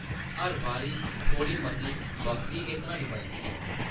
हर बारी थोह्ड़ी मती बक्खरी गै क्हानी बनदी ऐ ।